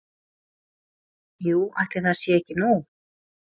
Jú, ætli það sé ekki nóg